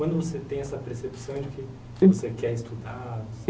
Quando você tem essa percepção de que você quer estudar?